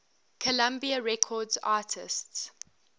columbia records artists